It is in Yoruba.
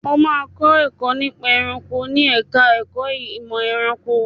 O máa kọ́ nípa ẹranko ní ẹ̀ka ẹ̀kó ìmọ̀ ẹranko.